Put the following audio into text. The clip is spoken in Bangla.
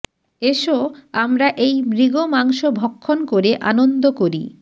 এসো আমরা এই মৃগমাংস ভক্ষণ করে আনন্দ করি